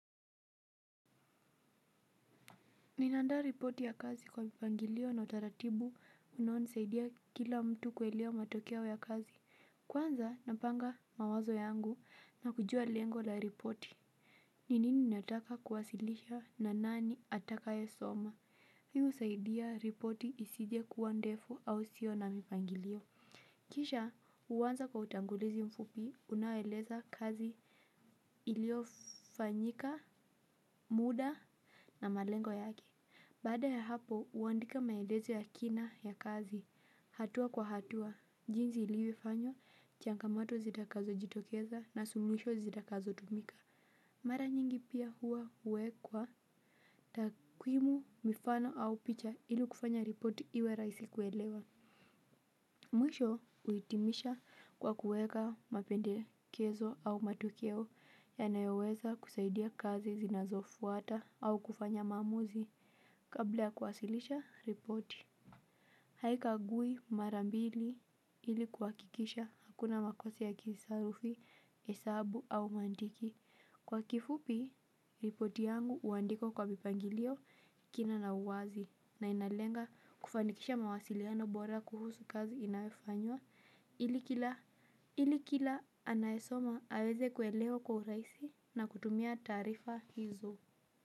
Ninaandaa ripoti ya kazi kwa mpangilio na utaratibu unao nisaidia kila mtu kuelewa matokeo ya kazi. Kwanza napanga mawazo yangu na kujua lengo la ripoti. Ni nini nataka kuwasilisha na nani atakaye soma. Hii husaidia ripoti isije kuwa ndefu au isio na mipangilio. Kisha huanza kwa utangulizi mfupi unaoeleza kazi iliofanyika muda na malengo yake. Baada ya hapo, huandika maelezo ya kina ya kazi, hatua kwa hatua, jinsi ilivyofanywa, changamoto zitakazo jitokeza na suluhisho zitakazo tumika. Mara nyingi pia huwa huwekwa takwimu mifano au picha ili kufanya ripoti iwe rahisi kuelewa. Mwisho kuhitimisha kwa kuweka mapendekezo au matokeo yanayoweza kusaidia kazi zinazofuata au kufanya maamuzi. Kabla ya kuwasilisha ripoti haikagui mara mbili ili kuhakikisha hakuna makosa ya kisarufi, hesabu au mantiki. Kwa kifupi, ripoti yangu huandikwa kwa mipangilio kina na uwazi. Na inalenga kufanikisha mawasiliano bora kuhusu kazi inayofanywa. Ili kila anayesoma aweze kuelewa kwa urahisi na kutumia taarifa hizo.